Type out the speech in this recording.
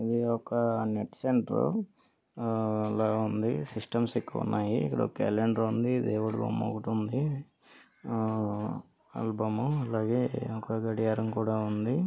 ఇక్కడ ఒక net centre లా ఉంది సిస్టమ్స్ ఎక్కువగా ఉన్నాయి ఒక క్యాలెండర్ ఉంది. ఒక దేవుడి బొమ్మ ఉంది. ఆ ఆల్బమ్ ఆలా గే ఒక గడియారం కూడా ఉంది.